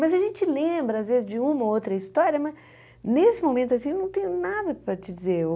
Mas a gente lembra, às vezes, de uma ou outra história, mas nesse momento, assim, não tenho nada para te dizer.